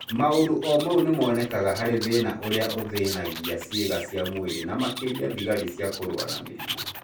Maũndũ o mau nĩmonekaga harĩ thĩna ũrĩa ũthĩnagia ciĩga cia mwĩrĩ na makĩria thigari cia kũrũa na mĩrimũ